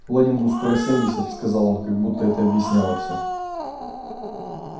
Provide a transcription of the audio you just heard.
лэннингу скоро семьдесят сказал он как будто это объясняло всё